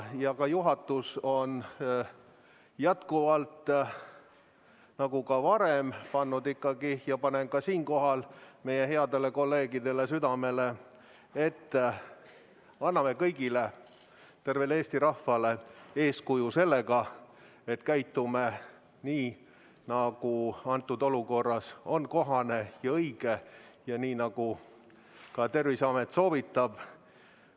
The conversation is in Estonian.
Juhatus on varem pannud ja ma panen ka siinkohal meie headele kolleegidele südamele, et anname kõigile, tervele Eesti rahvale eeskuju sellega, et käitume nii, nagu praeguses olukorras on kohane ja õige ja nii, nagu ka Terviseamet soovitab.